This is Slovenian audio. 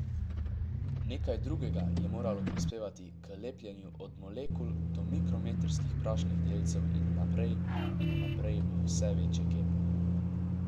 Nekaj drugega je moralo prispevati k lepljenju od molekul do mikrometrskih prašnih delcev in naprej in naprej v vse večje kepe.